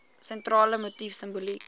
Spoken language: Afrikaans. sentrale motief simboliek